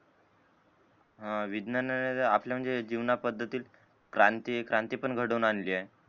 अं विज्ञाने आपल्या जीवनात पद्धतीत क्रांती क्रांती पण घडवून आलीये